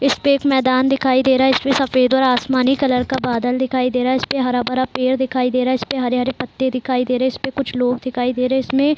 इसपे एक मैदान दिखाई दे रहा है इसपे सफ़ेद और आसमानी कलर का बादल दिखाई दे रहा है इसपे हरा-भरा पेड़ दिखाई दे रहा है इसपे हरे-हरे पत्ते दिखाई दे रहे है इसपे कुछ लोग दिखाई दे रहे हैं इसमें --